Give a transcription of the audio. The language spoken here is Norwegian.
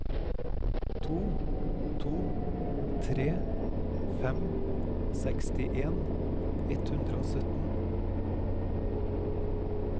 to to tre fem sekstien ett hundre og sytten